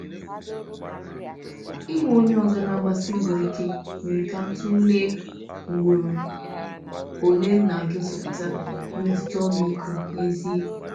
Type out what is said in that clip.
Ịhụ onye ọzọ na-agbasi mbọ ike mere ka m tụlee ugboro ole m na-egosipụta mmetụta ọmịiko n’ezie.